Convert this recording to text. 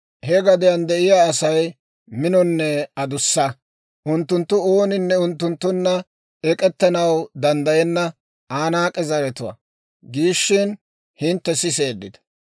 He gadiyaan de'iyaa Asay minonne adussa; unttunttu, ‹Ooninne unttunttunna ek'ettanaw danddayenna Anaak'e zaratuwaa› giishina, hintte siseeddita.